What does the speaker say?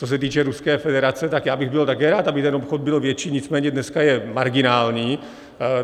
Co se týče Ruské federace, tak já bych byl také rád, aby ten obchod byl větší, nicméně dneska je marginální.